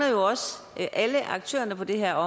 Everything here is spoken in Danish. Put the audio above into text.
alle aktørerne på det her